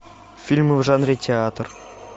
фильмы в жанре театр